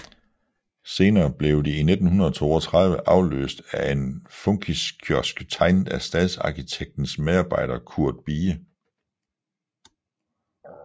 Senere blev de i 1932 afløst af en funkiskiosk tegnet af stadsarkitektens medarbejder Curt Bie